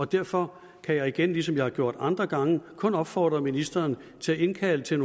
derfor kan jeg igen ligesom jeg har gjort andre gange kun opfordre ministeren til at indkalde til